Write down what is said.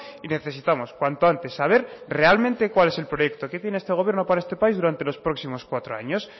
y necesitamos cuanto antes saber realmente cuál es el proyecto que tiene este gobierno para este país durante los próximos cuatro años